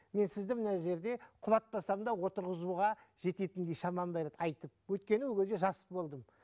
мен сізді мына жерде құлатпасам да отырғызуға жететіндей шамам бар еді айтып өйткені ол кезде жас болдым